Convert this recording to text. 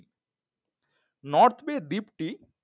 north bay দিপটি